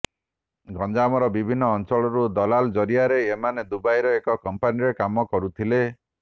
ଗଞ୍ଜାମର ବିଭିନ୍ନ ଅଞ୍ଚଳରୁ ଦଲାଲ ଜରିଆରେ ଏମାନେ ଦୁବାଇର ଏକ କମ୍ପାନୀରେ କାମ କରୁଥିଲେ